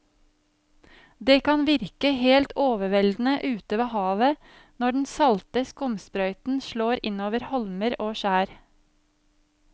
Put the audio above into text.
Det kan virke helt overveldende ute ved havet når den salte skumsprøyten slår innover holmer og skjær.